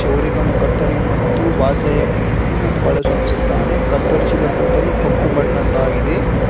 ಕ್ಷೌರಿಕನು ಕತ್ತರಿ ಮತ್ತು ಬಾಚಣಿಕೆಯನ್ನು ಬಳಸುತ್ತಿದ್ದಾನೆ ಕತ್ತರಿಸಿದ ಕೂದಲು ಕಪ್ಪು ಬಣ್ಣದ್ದಾಗಿದೆ.